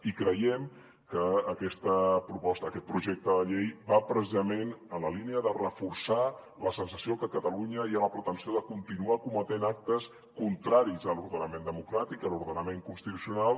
i creiem que aquest projecte de llei va precisament en la línia de reforçar la sensació que a catalunya hi ha la pretensió de continuar cometent actes contraris a l’ordenament democràtic a l’ordenament constitucional